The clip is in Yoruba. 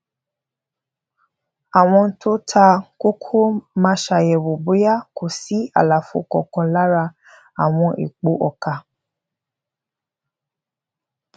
àwọn tó ta koko máa ṣàyèwò bóyá kò sí àlàfo kankan lára àwọn èèpo ọkà